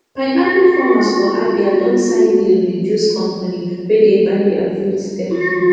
pineapple farmers for abia don sign deal with juice company wey dey buy their fruit steady